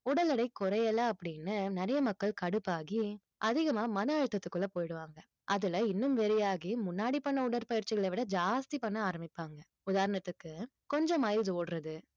உடல் எடை குறையல அப்படின்னு நிறைய மக்கள் கடுப்பாகி அதிகமா மன அழுத்தத்துக்குள்ள போயிடுவாங்க அதுல இன்னும் வெறியாகி முன்னாடி பண்ண உடற்பயிற்சிகளை விட ஜாஸ்தி பண்ண ஆரம்பிப்பாங்க உதாரணத்துக்கு கொஞ்ச மைல் ஓடுறது